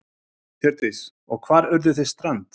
Hjördís: Og hvar urðuð þið strand?